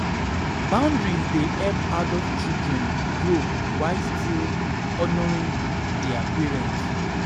Boundaries dey help adult children grow while still honoring their still honoring their parents.